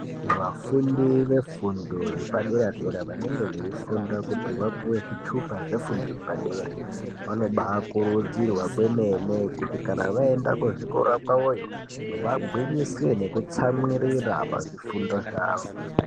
Vafundi vefundo yepadera dera vanenge veifunda kuti vapuwe zvitupa zvefundo yepadera vanobakurudzirwa kwemene kuti kana vaenda kuzvikora kwavoyo vagwinyise nekutsamwirira pazvifundo zvavo.